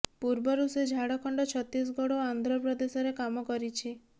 ପୂର୍ବରୁ ସେ ଝାଡଖଣ୍ଡ ଛତିଶଗଡ ଓ ଆନ୍ଧ୍ରପ୍ରଦେଶରେ କାମ କରିଛି